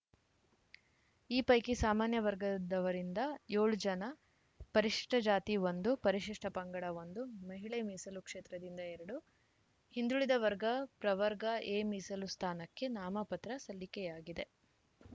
ಈ ಪೈಕಿ ಸಾಮಾನ್ಯ ವರ್ಗದವರಿಂದ ಏಳು ಜನ ಪರಿಷ್ಠ ಜಾತಿ ಒಂದು ಪರಿಶಿಷ್ಠ ಪಂಗಡ ಒಂದು ಮಹಿಳೆ ಮೀಸಲು ಕ್ಷೇತ್ರದಿಂದ ಎರಡು ಹಿಂದುಳಿದ ವರ್ಗ ಪ್ರವರ್ಗ ಎ ಮೀಸಲು ಸ್ಥಾನಕ್ಕೆ ನಾಮಪತ್ರ ಸಲ್ಲಿಕೆಯಾಗಿದೆ